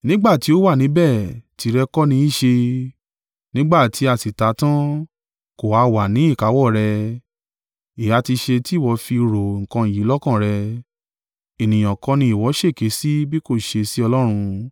Nígbà tí ó wà níbẹ̀ tìrẹ kọ́ ní í ṣe? Nígbà tí a sì ta á tan, kò ha wà ní ìkáwọ́ rẹ̀? Èéha ti ṣe tí ìwọ fi rò nǹkan yìí lọ́kàn rẹ? Ènìyàn kọ́ ni ìwọ ṣèké sí bí kò ṣe sí Ọlọ́run?”